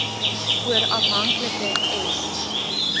oor afhanklike s